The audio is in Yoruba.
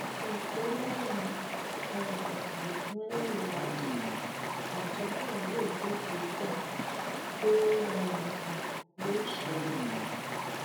ó fi kún un pé lẹyìn um ẹkúnrẹrẹ ìwádìí àjọ náà yóò gbé ìgbésẹ tó um kàn lórí ìṣẹlẹ ọhún